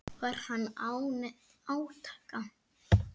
Var hann án átaka.